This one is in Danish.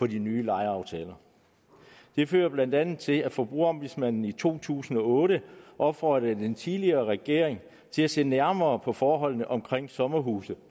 de nye lejeaftaler det førte blandt andet til at forbrugerombudsmanden i to tusind og otte opfordrede den tidligere regering til at se nærmere på forholdene omkring sommerhuse